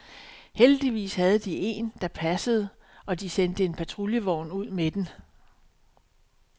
Heldigvis havde de en, der passede og de sendte en patruljevogn ud med den.